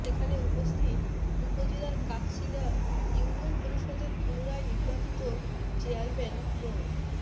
সেখানে উপস্থিত উপজেলার কাকচিড়া ইউনিয়ন পরিষদের পুনরায় নির্বাচিত চেয়ারম্যান মো